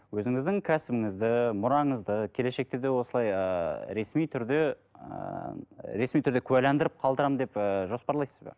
өзіңіздің кәсібіңізді мұраңызды келешекте де осылай ыыы ресми түрде ыыы ресми түрде куәландырып қалдырамын деп ыыы жоспарлайсыз ба